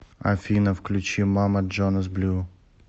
афина включи мама джонас блю